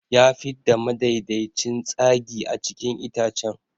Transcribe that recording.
Ya fidda madaidaicin tsagi a cikin itacen.